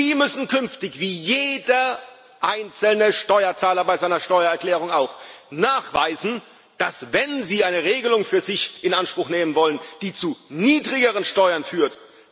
Sie müssen künftig wie jeder einzelne Steuerzahler bei seiner Steuererklärung auch nachweisen, dass es rechtens zugeht, wenn sie eine Regelung für sich in Anspruch nehmen wollen, die zu niedrigeren Steuern führt.